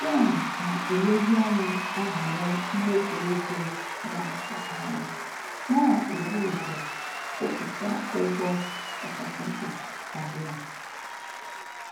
Jen na-elezianya ahoro mmefu ego ya kwa ọnwa, na-ebu ụzọ kwụpụta ụgwọ kachasi mkpa karia